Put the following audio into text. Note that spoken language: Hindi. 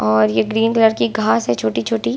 और ये ग्रीन कलर की घास है छोटी-छोटी।